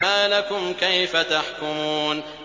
مَا لَكُمْ كَيْفَ تَحْكُمُونَ